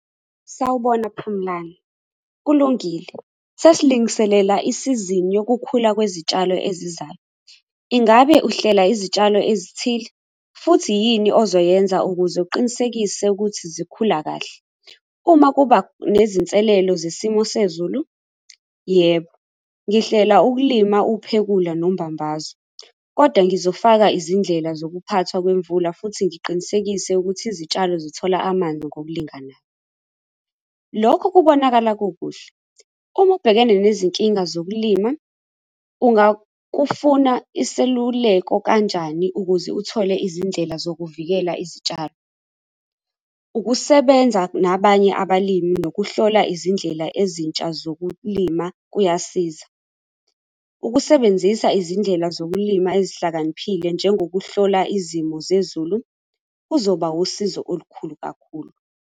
Sawubona Phumlani, kulungile, sesilungiselela isizini yokukhula kwezitshalo ezayo. Ingabe uhlela izitshalo ezithile futhi yini ozoyenza ukuze uqinisekise ukuthi zikhula kahle uma kuba nezinselelo zesimo sezulu? Yebo, ngihlela ukulima uphekule nombambaso, kodwa ngizofaka izindlela zokuphathwa kwemvula futhi ngiqinisekise ukuthi izitshalo zithola amanzi ngokulingana. Lokhu kubonakala kukuhle uma ubhekene nezinkinga zokulima, ungafuna iseluleko kanjani ukuze uthole izindlela zokuvikela izitshalo. Ukusebenza nabanye abalimi nokuhlola izindlela ezintsha zokulima kuyasiza ukusebenzisa izindlela zokulima ezihlakaniphile njengokuhlola izimo zezulu kuzoba usizo olukhulu.